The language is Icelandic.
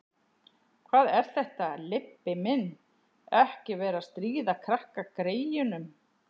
Hvað er þetta, Leibbi minn. ekki vera að stríða krakkagreyjunum!